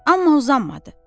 Amma uzanmadı.